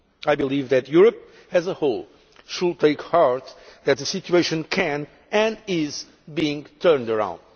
I believe that Europe as a whole should take heart that the situation can be, and is being, turned around.